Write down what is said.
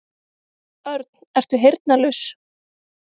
Örn, ertu heyrnarlaus?